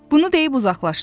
Bunu deyib uzaqlaşdı.